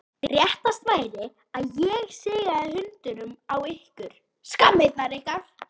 Réttast væri að ég sigaði hundunum á ykkur, skammirnar ykkar!